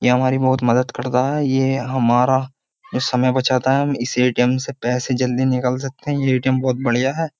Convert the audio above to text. ये हमारी बहुत मदद करता है ये हमारा जो समय बचाता है हम इस एटीएम से पैसे जल्दी निकाल सकते हैं ये एटीएम बहुत बढ़िया है।